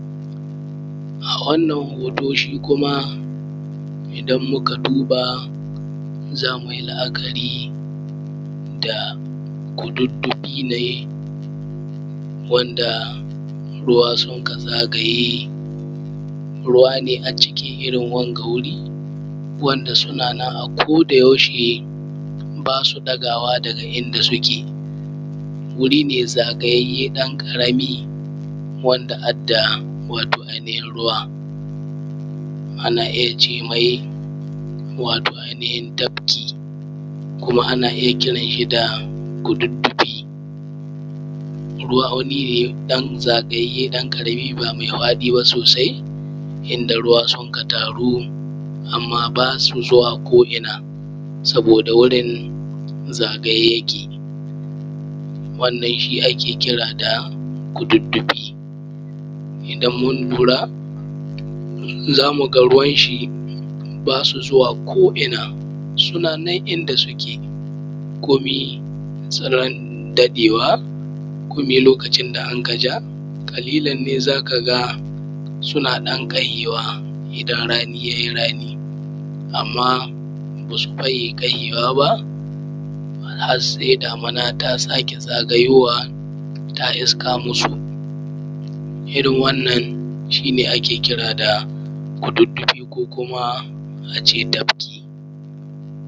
A wannan hoto shi kuma idan muka duba za mui la’akari da kududdufi wanda ruwa suk zagaye ruwa ne a cikin Irrin wanga wuri wanda sunana a koda yaushe basu ɗagawa daga inda suke. Wuri ne zagayayye ɗan ƙarami wadda ada wato ajiyan ruwa, ana iyya cemai wato ai nihin tafki kuma anna iyya kira nai wato da kududddufi. Ruwa ne ɗan zagayyaye ɗan ƙarami ba mai faɗi ba sosai, inda ruwa sunka taru amma basu zuwa ko inna saboda wurin zagaye yake wannan shi ake kira da kududdufi. Idan mun lura zamuga ruwanshi basu zuwa ko inna suna nan inda suke komai tsiron daɗewa komin lokacin da ankaja ƙalilan ne zakaga suna ɗan ɗagewa iidan rani yai rani amma basu cika ƙagewa ba harsai damina ta sake tsayawa ta iska masu irrin wannan shine ake kira da kududdufi ko kuma ace tafki.